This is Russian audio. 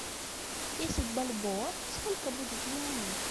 десять бальбоа сколько будет юаней